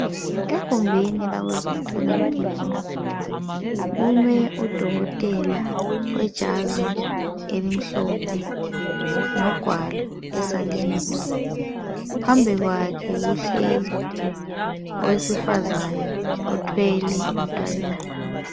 Egumbini labezemtholampilo. Kume udokotela wejazi elimhlophe. Logwalo esandleni. Phambi kwakhe kuhleli owesifazana, othwele umntwanyana.